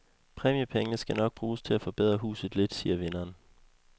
Præmiepengene skal nok bruges til at forbedre huset lidt, siger vinderen.